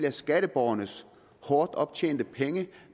er skatteborgernes hårdt tjente penge